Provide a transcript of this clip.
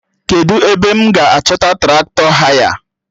Kedụ ebe m ga-achọta Traktọ haya?